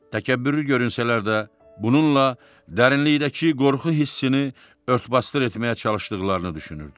Təkəbbürlü görünsələr də, bununla dərinlikdəki qorxu hissini ört-basdır etməyə çalışdıqlarını düşünürdü.